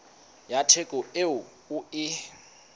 ya theko eo o e